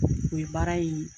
O ye baara ye